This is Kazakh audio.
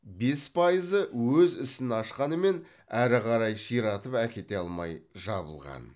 бес пайызы өз ісін ашқанымен әрі қарай ширатып әкете алмай жабылған